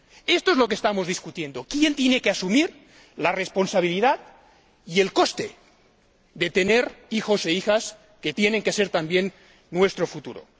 Esto es lo que estamos discutiendo ¿quién tiene que asumir la responsabilidad y el coste de tener hijos e hijas que tienen que ser también nuestro futuro?